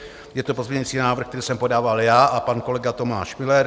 Je to pozměňující návrh, který jsem podával já a pan kolega Tomáš Müller.